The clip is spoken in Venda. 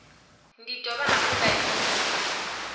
ndi dovha hafhu nda livhuwa